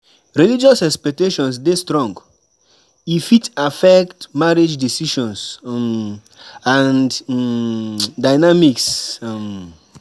Religious expectations dey strong; e fit affect marriage decisions um and um dynamics. um